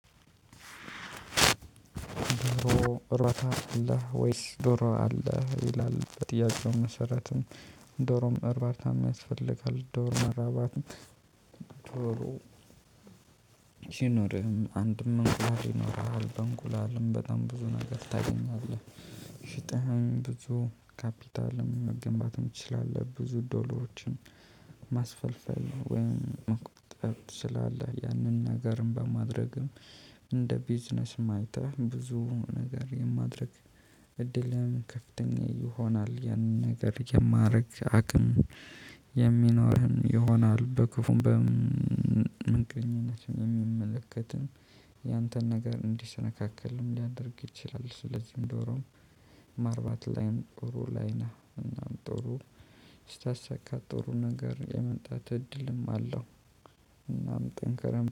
ዶሮ እርባታ አለ ወይስ ዶሮ አለ ይላል በጥያቄው መሰረትም። ዶሮም እርባርታም ያስፈልጋል ዶሮም እርባርታም። ዶሮ። ይኖርህም አንድም እንቁላል ይኖርሃል በእንቁላልም በጣም ብዙ ነገር ታገኛለህ። ሽጠህም ብዙ ካፒታል መገንባትም ትችላለህ። ብዙ ዶሮዎችን ማስፈልፈል ወይም መቆጠብ ትችላለህ። ያንን ነገርም በማድረግም። እንደ ቢዝነስም አይተህም ብዙ ነገር የማድረግ እድልም ከፍተኛ ይሆናል። ያንን ነገር የማድረግ አቅም የሚኖርህን ይሆናል። በክፉም በምንቅኝነትም የሚመለከትም ያንተን ነገር እንዲሰነካከልም ሊያደርግ ይችላል። ስለዚህ ዶሮ ማርባት ላይን ጥሩ ላይነህ እና ጥሩ ስታሳካ ጥሩ ነገር የመምጣት እድልም አለው። እናም ጠንክረህ